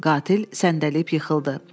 Qatil səndəliyib yıxıldı.